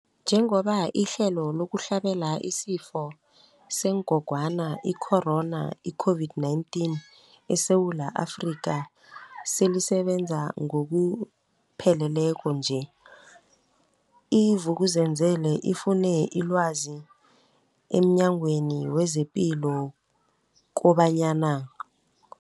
Njengoba ihlelo lokuhlabela isiFo sengogwana i-Corona, i-COVID-19, eSewula Afrika selisebenza ngokupheleleko nje, i-Vuk'uzenzele ifune ilwazi emNyangweni wezePilo kobanyana.